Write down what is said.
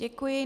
Děkuji.